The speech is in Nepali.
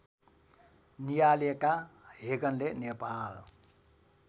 नियालेका हेगनले नेपाल